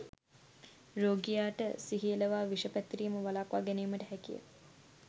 රෝගියා ට සිහි එළවා විෂ පැතිරීම වළක්වා ගැනීමට හැකිය